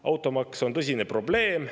Automaks on tõsine probleem.